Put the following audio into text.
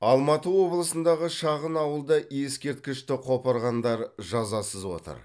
алматы облысындағы шағын ауылда ескерткішті қопарғандар жазасыз отыр